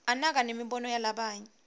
anaka nemibono yalabanye